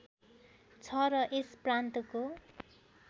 छ र यस प्रान्तको